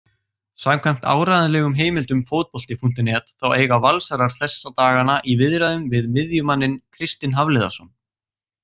Samkvæmt áreiðanlegum heimildum Fótbolti.net þá eiga Valsarar þessa dagana í viðræðum við miðjumanninn Kristinn Hafliðason.